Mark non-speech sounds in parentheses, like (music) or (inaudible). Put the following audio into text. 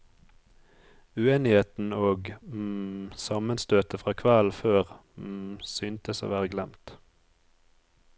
Uenigheten og (hesitation) sammenstøtet fra kvelden før (hesitation) syntes å være glemt.